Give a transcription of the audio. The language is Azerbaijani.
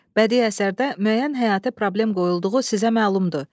Bədii əsərdə müəyyən həyatı problem qoyulduğu sizə məlumdur.